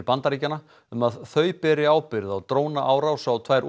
Bandaríkjanna um að þau beri ábyrgð á drónaárás á tvær